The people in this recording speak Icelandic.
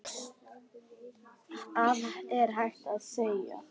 Hvað er hægt að segja.